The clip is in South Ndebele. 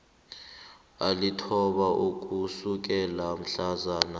alithoba ukusukela mhlazana